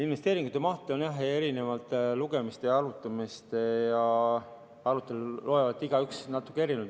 Investeeringute mahtu on jah eri lugemistel ja aruteludel lugenud igaüks natuke erinevalt.